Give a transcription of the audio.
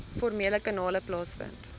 formele kanale plaasvind